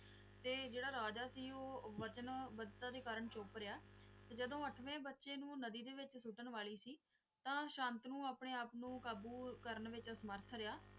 ਤੇ ਜਿਹੜਾ ਰਾਜਾ ਸੀ ਓਹ ਵਚਨ ਕਰਨ ਚੁੱਪ ਰਿਹਾ ਤੇ ਜਦੋਂ ਅੱਠਵੇਂ ਬਚੇ ਨੂੰ ਨਦੀ ਵਿਚ ਸੁੱਟਣ ਵਾਲੀ ਸੀ ਤਨ ਸ਼ਾਂਤਨੂੰ ਆਪਣੇ ਆਪ ਨੂੰ ਕਾਬੂ ਕਰਨ ਵਿਚ ਅਸਮਰਥ ਰਿਹਾ